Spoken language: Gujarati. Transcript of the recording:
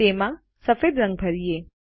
તેમાં સફેદ રંગ ભરીયે